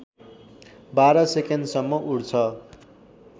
१२ सेकेन्डसम्म उड्छ